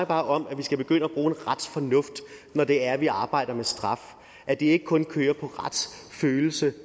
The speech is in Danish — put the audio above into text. bare om at vi skal begynde at bruge en retsfornuft når det er at vi arbejder med straf at det ikke kun kører på retsfølelsen